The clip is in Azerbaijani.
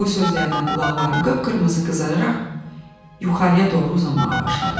Bu sözlərdən qulaqlarım qıpqırmızı qızararaq yuxarıya doğru uzanmağa başladı.